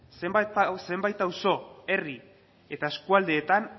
zenbait auzo herri eta eskualdeetan